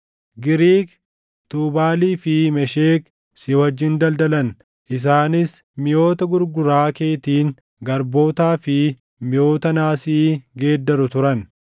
“ ‘Giriik, Tuubaalii fi Meshek si wajjin daldalan; isaanis miʼoota gurguraa keetiin garbootaa fi miʼoota naasii geeddaru turan.